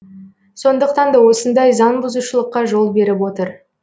сондықтан да осындай заңбұзушылыққа жол беріп отыр